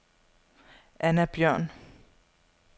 Anna Bjørn